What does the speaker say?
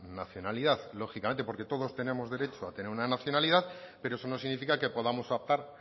nacionalidad lógicamente porque todos tenemos derecho a tener una nacionalidad pero eso no significa que podamos optar